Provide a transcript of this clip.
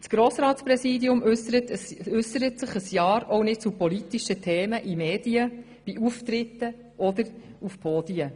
Das Grossratspräsidium äussert sich während eines Jahrs auch nicht zu politischen Themen in Medien, bei Auftritten oder an Podien.